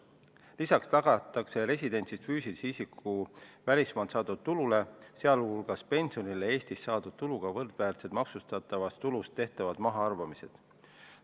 Lisaks tagatakse residendist füüsilise isiku välismaalt saadud tulule, sh pensionile Eestis saadud tuluga võrdväärsed maksustatavast tulust tehtavad mahaarvamised.